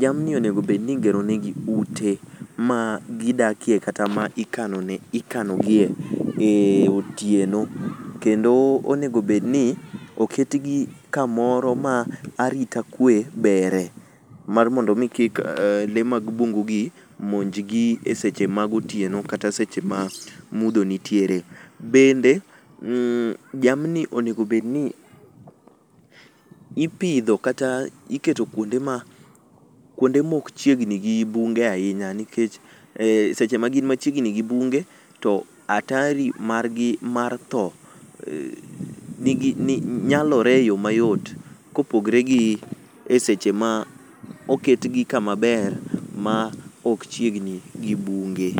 jamni onego bed ni igero ne gi ute ma gidakie kata ma ikanogie e otieno kendo onego bed ni oket gi kamoro arita kue beri mondo mi kik le mag bungu gi minj gi e seche ma gotieno kata seche ma mudho nitiere, bende jamni onego bedni ipidho kata iketo kuonde ma ok chiegni gi bunge ahinya nikech e seche ma gin machiegni gi bunge to hatari mar gi mar dhoo nyalore e yoo mayot kopogore gi e seche ma oket gi kama ber ma ok chiegni gi bunge